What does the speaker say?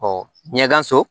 ɲɛda so